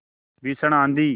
भीषण आँधी